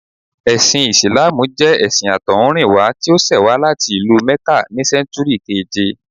Ẹ̀sìn Ìsìláàmù jẹ́ ẹṣin àtọ̀húnrìnwá tí ó ṣẹ̀ wá láti ìlú Mẹ́kà ní sẹ́ńtúrì keèje